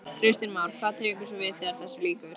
Kristján Már: Hvað tekur svo við þegar þessu lýkur?